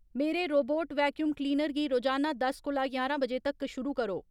मेरे robot vacuum cleaner गी रोजाना दस कोला ञारां बजे तक शुरू करो